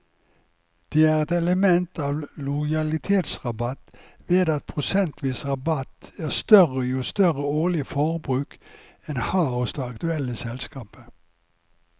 Det er et element av lojalitetsrabatt ved at prosentvis rabatt er større jo større årlig forbruk en har hos det aktuelle selskapet.